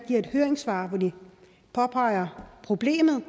i et høringssvar påpeger problemet